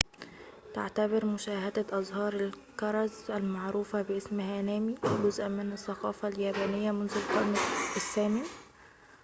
تعتبر مشاهدة أزهار الكرز-المعروفة باسم هانامي جزءاً من الثقافة اليابانية منذ القرن الثامن